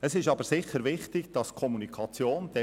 Es ist aber sicher wichtig, dass die Kommunikation stimmt.